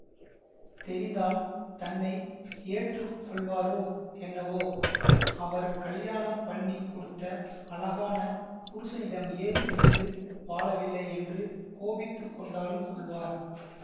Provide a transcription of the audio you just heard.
தெரிந்தால் தன்னை ஏற்று கொள்வாரோ என்னவோ அவர் கல்யாணம் பண்ணி கொடுத்த அழகான புருஷனிடம் ஏன் இருந்து வாழவில்லையென்று கோபித்து கொண்டாலும் கொள்வார்